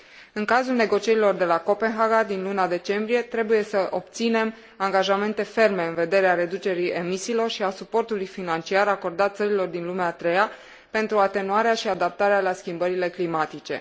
În cazul negocierilor de la Copenhaga, din luna decembrie, trebuie să obținem angajamente ferme în vederea reducerii emisiilor și a suportului financiar acordat țărilor din lumea a treia pentru atenuarea și adaptarea la schimbările climatice.